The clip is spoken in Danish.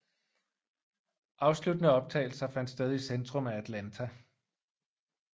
Afsluttende optagelser fandt sted i centrum af Atlanta